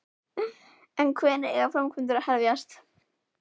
En hvenær eiga framkvæmdir að hefjast?